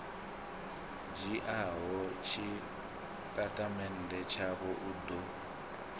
dzhiaho tshitatamennde tshavho u ḓo